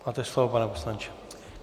Máte slovo, pane poslanče.